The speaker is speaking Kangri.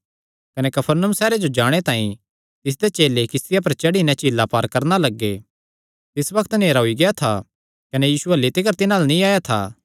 कने कफरनहूम सैहरे जो जाणे तांई तिसदे चेले किस्तिया पर चढ़ी नैं झीला पार करणा लग्गे तिस बग्त नेहरा होई गेआ था कने यीशु अह्ल्ली तिकर तिन्हां अल्ल नीं आया था